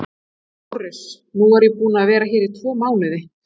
LÁRUS: Nú er ég búinn að vera hérna í tvo mánuði.